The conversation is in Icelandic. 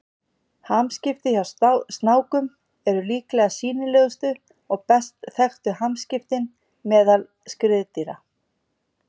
hamskipti hjá snákum eru líklega sýnilegustu og best þekktu hamskiptin meðal skriðdýra